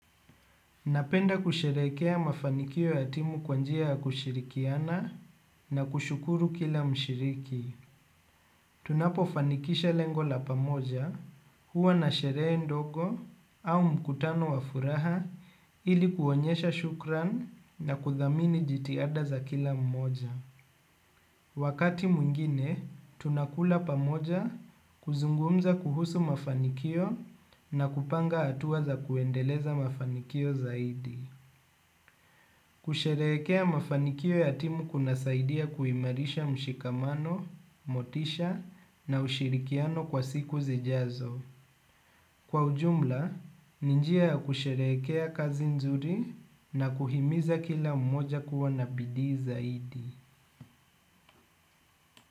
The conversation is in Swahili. Napenda kusherekea mafanikio ya timu kwa njia ya kushirikiana na kushukuru kila mshiriki. Tunapofanikisha lengo la pamoja huwa na sherehe ndogo au mkutano wa furaha ili kuonyesha shukran na kuthamini jitihada za kila mmoja. Wakati mwingine tunakula pamoja kuzungumza kuhusu mafanikio na kupanga hatua za kuendeleza mafanikio zaidi. Kusherehekea mafanikio ya timu kunasaidia kuimarisha mshikamano, motisha na ushirikiano kwa siku zijazo. Kwa ujumla, ni njia ya kusherehekea kazi nzuri na kuhimiza kila mmoja kuwa na bidii zaidi.